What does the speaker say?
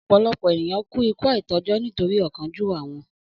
Ọ̀pọ̀lọpọ̀ ènìyàn kú ikú àìtọ́jọ́ nítorí ọ̀kánjúwà won